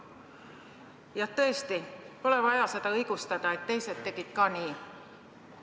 Jah, tõesti, pole vaja õigustada, et teised tegid ka nii.